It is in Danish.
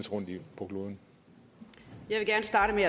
ud